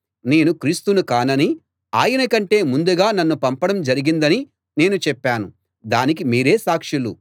నేను క్రీస్తును కాననీ ఆయన కంటే ముందుగా నన్ను పంపడం జరిగిందనీ నేను చెప్పాను దానికి మీరే సాక్షులు